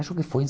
Acho que foi